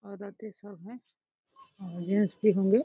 औरतें सब हैं और जेन्स भी होंगे।